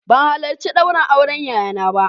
Ban halarci ɗaurin auren yayana ba